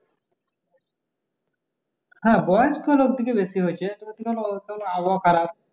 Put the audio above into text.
হ্যাঁ বয়স্ক লোকদের কে বেশি হয়ছে আবহাওয়া খারাপ